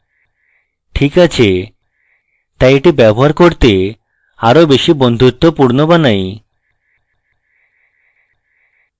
ঠিক আছেতাই এটি ব্যবহার করতে আরো বেশী বন্ধুত্বপূর্ণ বানাই